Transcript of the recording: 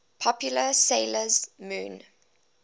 popular 'sailor moon